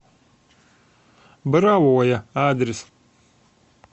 боровое адрес